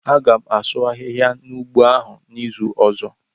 A gam asụ ahịhịa n'ugbo ahụ n'izu ọzọ.